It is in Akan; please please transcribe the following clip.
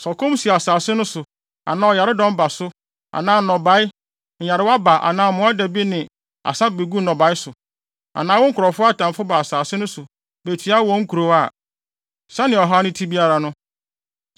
“Sɛ ɔkɔm si asase no so anaa ɔyaredɔm ba so anaa nnɔbae nyarewa ba anaa mmoadabi ne asa begu nnɔbae so, anaa wo nkurɔfo atamfo ba asase no so betua wɔn nkurow a, sɛnea ɔhaw no te biara no,